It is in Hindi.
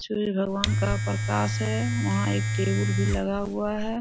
सूर्य भगवन का प्रकाश है वहाँ एक टेबुल भी लगा हुआ है।